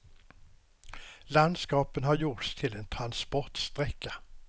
Landskapet har gjorts till en transportsträcka.